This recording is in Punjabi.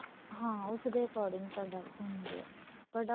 ਹਾਂ ਉਸ ਦੇ according product ਹੁੰਦੇ ਏ product